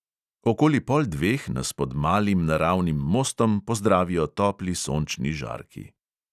Okoli pol dveh nas pod malim naravnim mostom pozdravijo topli sončni žarki.